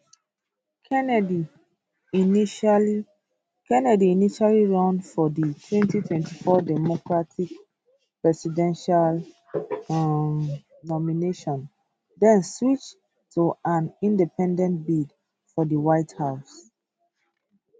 kennedy initially kennedy initially run for di 2024 democratic presidential um nomination den switch to an independent bid for di white house